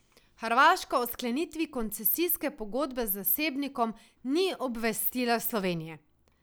Hrvaška o sklenitvi koncesijske pogodbe z zasebnikom ni obvestila Slovenije.